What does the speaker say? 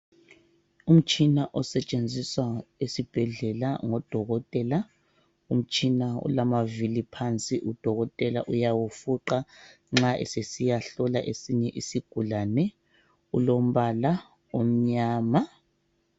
Umtshina osetshenziswa esibhedlela ngodokotela. Umtshina ulamavili phansi udokotela uyawufuqa nxa sesiyahlola esinye isigulane. Ulombala omnyama.